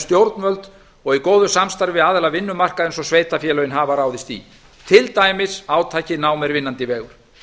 stjórnvöld og í góðu samstarfi aðila vinnumarkaðarins og sveitarfélögin hafa ráðist í til dæmis átakið nám er vinnandi vegur